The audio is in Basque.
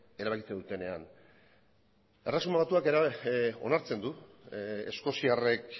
erabakitzen dutenean erresuma batuak onartzen du eskoziarrek